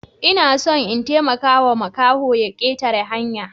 Ina son in taimakawa makahon ya ketare hanya.